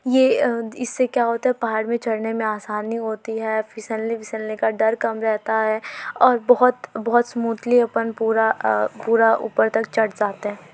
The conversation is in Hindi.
ये अ इससे क्या होता है पहाड़ मे चढ़ने में आसानी होती है फिसलने विसलने का डर कम रहता है और बहोत बहोत स्मूथली अपन पूरा अ पूरा ऊपर तक चढ़ जाते हैं।